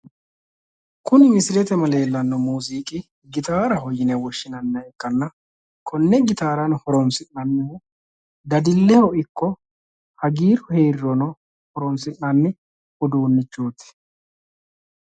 Kuni misilete aana leellanno muuziiqi gitaarete yine woshshinanniha ikkanna konne gitaara horonsi'nannihu dadilleho ikko hagiirru heerirono horonsi'nanni uduunnichooti.